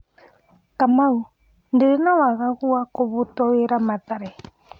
Kamau : Ndĩrĩ na wagagu wa gũbutwo wĩra Mathare.